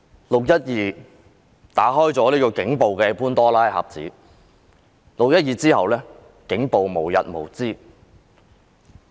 "六一二"事件打開了警暴的潘朵拉盒子，其後警暴無日無之。